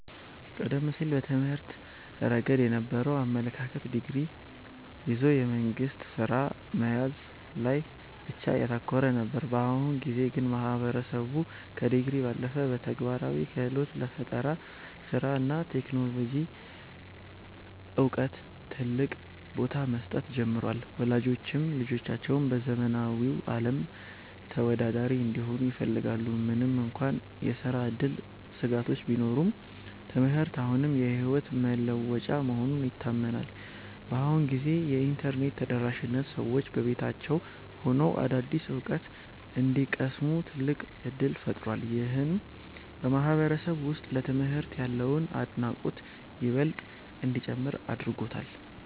ቀደም ሲል በትምህርት ረገድ የነበረው አመለካከት ዲግሪ ይዞ የመንግሥት ሥራ መያዝ ላይ ብቻ ያተኮረ ነበር። በአሁኑ ጊዜ ግን ማህበረሰቡ ከዲግሪ ባለፈ ለተግባራዊ ክህሎት፣ ለፈጠራ ሥራ እና ለቴክኖሎጂ ዕውቀት ትልቅ ቦታ መስጠት ጀምሯል። ወላጆችም ልጆቻቸው በዘመናዊው ዓለም ተወዳዳሪ እንዲሆኑ ይፈልጋሉ። ምንም እንኳን የሥራ ዕድል ስጋቶች ቢኖሩም፣ ትምህርት አሁንም የሕይወት መለወጫ መሆኑ ይታመናል። በአሁኑ ጊዜ የኢንተርኔት ተደራሽነት ሰዎች በቤታቸው ሆነው አዳዲስ ዕውቀት እንዲቀስሙ ትልቅ ዕድል ፈጥሯል። ይህም በማህበረሰቡ ውስጥ ለትምህርት ያለውን አድናቆት ይበልጥ እንዲጨምር አድርጎታል።